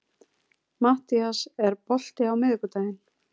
Mattías, er bolti á miðvikudaginn?